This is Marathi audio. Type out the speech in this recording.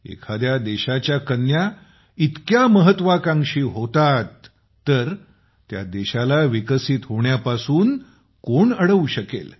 एखाद्या देशाच्या कन्या इतक्या महत्वाकांक्षी होतात तर त्या देशाला विकसित होण्यापासून कोण अडवू शकेल